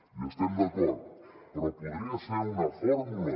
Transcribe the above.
hi estem d’acord però podria ser una fórmula